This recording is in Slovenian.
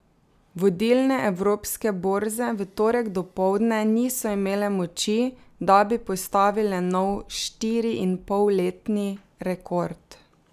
Vodilne evropske borze v torek dopoldne niso imele moči, da bi postavile nov štiriinpolletni rekord.